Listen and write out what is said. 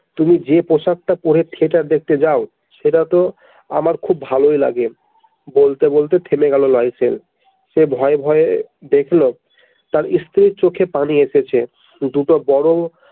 তুমি যে পোশাকটা পরে Theater দেখতে যাও সেটাতো আমার খুব ভালোই লাগে বলতে বলতে থেমে গেল সে ভয়ে ভয়ে দেখল তার ইস্ত্রির চোখে পানি এসেছে দুটো বড়ো।